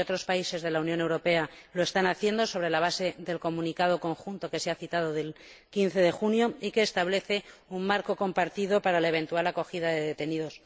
España y otros países de la Unión Europea lo están haciendo sobre la base del comunicado conjunto del 15 de junio que se ha citado y que establece un marco compartido para la eventual acogida de detenidos.